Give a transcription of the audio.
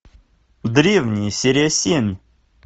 древние серия семь